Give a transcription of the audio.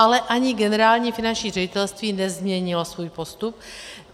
Ale ani Generální finanční ředitelství nezměnilo svůj postup.